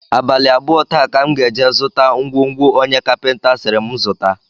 Abalị abụọ taa ka m ga-eje zụta ngwongwo onye kapịnta sịrị m zụta